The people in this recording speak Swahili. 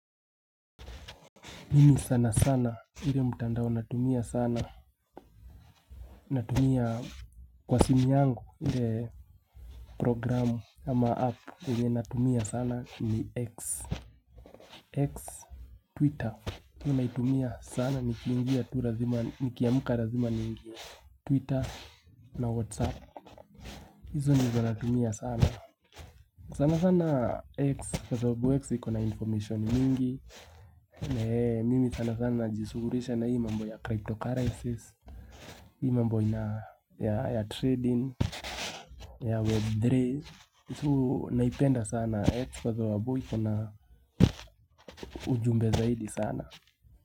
Mimi sana sana ile mtandao natumia sana Natumia kwa simu yangu ile programu ama app yenye natumia sana ni X X Twitter mimi naitumia sana ni kiamka lazima niingie Twitter na Whatsapp hizo ndizo natumia sana. Sanasana X kwa sababu X iko na information nyingi Mimi sanasana najisugulisha na hii mambo ya cryptocurrencies hii mambo ina ya trading ya web3 so naipenda sana X kwa sababu ikona ujumbe zaidi sana.